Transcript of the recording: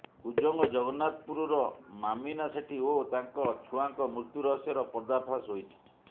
କୁଜଙ୍ଗ ଜଗନ୍ନାଥପୁରର ମାମିନା ସେଠୀ ଓ ତାଙ୍କ ଛୁଆଙ୍କ ମୃତ୍ୟୁ ରହସ୍ୟର ପର୍ଦ୍ଦାଫାସ ହୋଇଛି